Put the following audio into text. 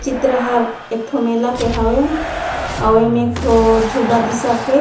चित्र हर एक ठो मेला के हावे अउ ऐमे एक ठो झूला दिसत हे।